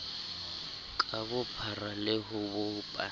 ka bophara le ho bopa